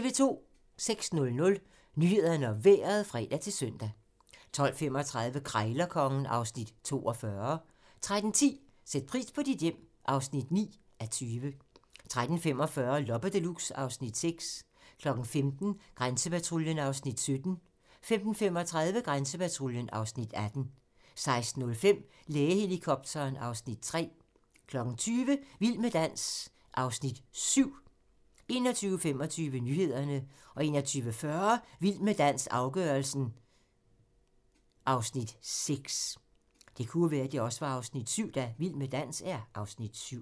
06:00: Nyhederne og Vejret (fre-søn) 12:35: Krejlerkongen (Afs. 42) 13:10: Sæt pris på dit hjem (9:20) 13:45: Loppe Deluxe (Afs. 6) 15:00: Grænsepatruljen (Afs. 17) 15:35: Grænsepatruljen (Afs. 18) 16:05: Lægehelikopteren (Afs. 3) 20:00: Vild med dans (Afs. 7) 21:25: Nyhederne 21:40: Vild med dans - afgørelsen (Afs. 6)